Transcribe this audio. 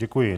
Děkuji.